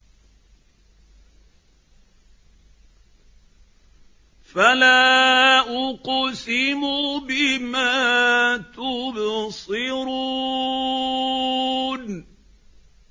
فَلَا أُقْسِمُ بِمَا تُبْصِرُونَ